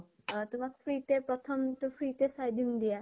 অ তোমাক free তে প্ৰথম তো free তে চাই দিম দিয়া ।